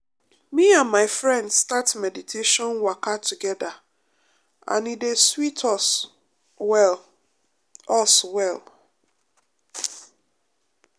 me and my friends start meditation waka together and e dey sweet us well. us well.